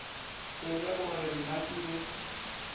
tsebe gore na ke be